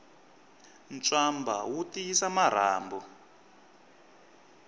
ntswamba wu tiyisa marhambu